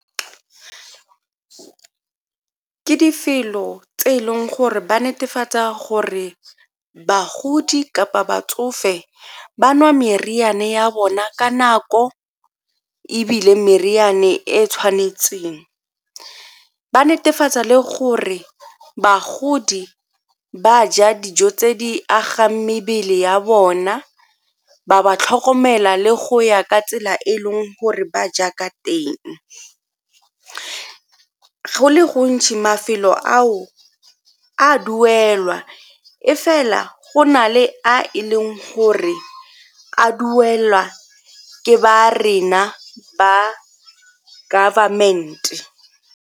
Ke tse e leng gore ba netefatsa gore bagodi kapa batsofe ba nwa merianame ya bona ka nako ebile meriane e e tshwanetseng. Ba netefatsa le gore bagodi ba ja dijo tse di agang mebele ya bona ba ba tlhokomela le go ya ka tsela e e leng gore ba ja ka teng. Go le gontšhi mafelo ao a duelwa e fela go na le a e leng gore a duelwa ke ba rena ba government.